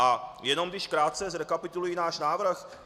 A jenom když krátce zrekapituluji náš návrh.